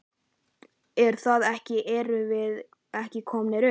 Er það ekki erum við ekki komnir upp?